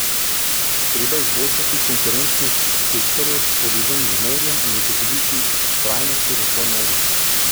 Treba je izboljšati konkurenčnost sektorjev, povezanih z morjem, in zagotoviti trajnostni razvoj morja.